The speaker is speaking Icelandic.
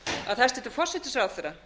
að hæstvirtur forsætisráðherra